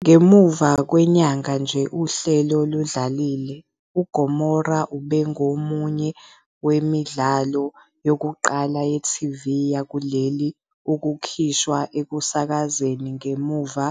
Ngemuva kwenyanga nje uhlelo ludlalile, uGomora ubengomunye wemidlalo yokuqala ye-TV yakuleli ukukhishwa ekusakazeni ngemuva